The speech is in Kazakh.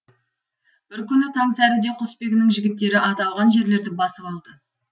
бір күні таң сәріде құсбегінің жігіттері аталған жерлерді басып алды